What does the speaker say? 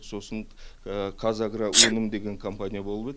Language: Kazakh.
сосын қазагроөнім деген компания болып еді